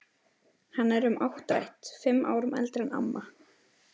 Hann er um áttrætt, fimm árum eldri en amma.